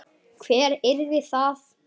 Hver yrði það?